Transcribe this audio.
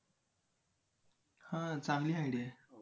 हां चांगली idea आहे.